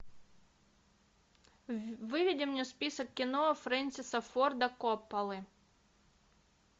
выведи мне список кино фрэнсиса форда копполы